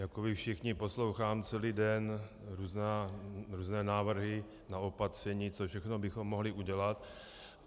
Jako vy všichni poslouchám celý den různé návrhy na opatření, co všechno bychom mohli udělat.